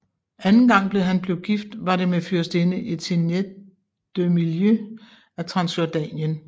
Anden gang han blev gift var det med fyrstinde Etienette de Milly af Transjordanien